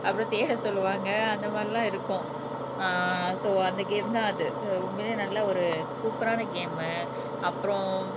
அப்புறம் தேட சொல்லுவாங்க அந்த மாதிரி எல்லாம் இருக்கும் ஆஹ் சோ அந்த கேம் தான் அது உண்மையிலே நல்ல ஒரு சூப்பர் ஆன கேம்மு அப்புறம்